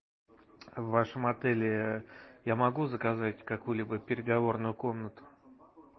в вашем отеле я могу заказать какую либо переговорную комнату